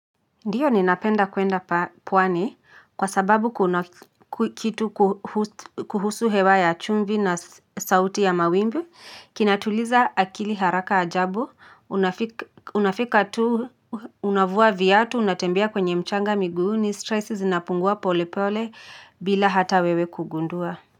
Ndiyo ninapenda kwenda pwani kwa sababu kuhusu hewa ya chumvi na sauti ya mawimbi kinatuliza akili haraka ajabu unafika tu unavua viatu unatembea kwenye mchanga miguuni stress zinapungua pole pole bila hata wewe kugundua Muzika.